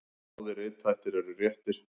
Báðir rithættir eru réttir.